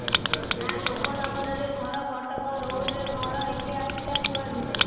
ନାଲୋକ ନଗରରେ ଘର କଟକ ରୋଡରେ ଘର ଏତେ ଆସିଲା କୁଆଡୁ